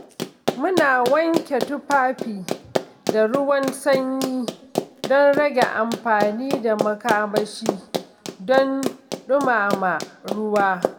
Muna wanke tufafi da ruwan sanyi don rage amfani da makamashi don dumama ruwa.